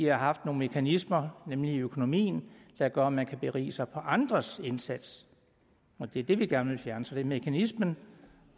har nogle mekanismer nemlig i økonomien der gør at man kan berige sig på andres indsats og det er det vi gerne vil fjerne så det er mekanismen